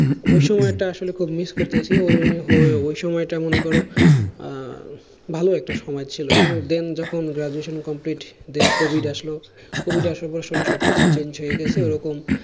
ওই সময়টা আসলে খুব miss করতেছি ওই ওই সময়টা মনে করো আহ ভালো একটা সময় ছিল কিন্তু then যখন graduation complete then covid আসলো covid আসার পর আসলে সবকিছুই change হয়ে গেছে ওরকম